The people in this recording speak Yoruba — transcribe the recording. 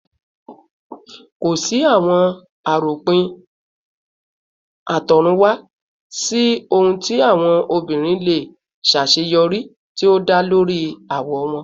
Ko si awọn aropin atorunwa si ohun ti awọn obinrin le ṣaṣeyọri ti o da lori awọ wọn